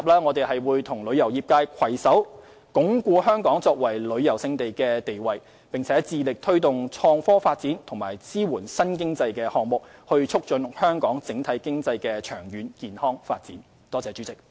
我們亦會與旅遊業界攜手，鞏固香港作為旅遊勝地的地位，並且致力推動創科發展及支援新經濟項目，以促進香港整體經濟的長遠健康發展。